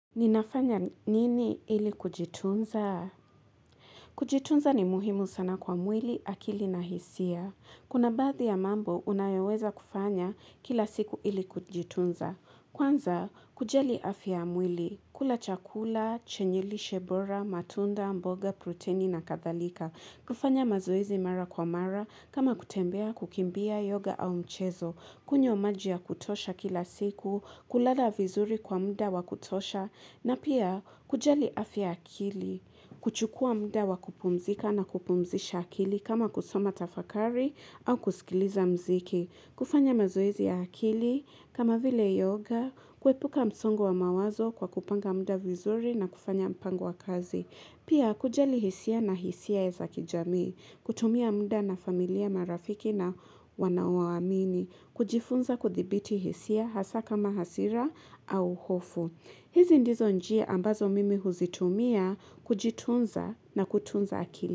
Ninafanya nini ili kujitunza? Kujitunza ni muhimu sana kwa mwili, akili na hisia. Kuna badthi ya mambo unayoweza kufanya kila siku ili kujitunza. Kwanza, kujali afya ya mwili, kula chakula, chenye lishe bora, matunda, mboga, proteni na kathalika. Kufanya mazoezi mara kwa mara, kama kutembea, kukimbia, yoga au mchezo. Kunywa maji ya kutosha kila siku, kulala vizuri kwa muda wakutosha, na pia kujali afya ya akili, kuchukua muda wakupumzika na kupumzisha akili kama kusoma tafakari au kusikiliza mziki, kufanya mazoezi ya akili, kama vile yoga, kuepuka msongo wa mawazo kwa kupanga muda vizuri na kufanya mpango wa kazi. Pia kujali hisia na hisia ya zakijamii, kutumia muda na familia marafiki na wanaowaamini, kujifunza kuthibiti hisia hasa kama hasira au hofu. Hizi ndizo njia ambazo mimi huzitumia kujitunza na kutunza akili.